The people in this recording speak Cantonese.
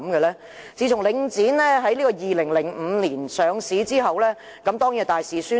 領展自從在2005年上市後便大肆宣傳。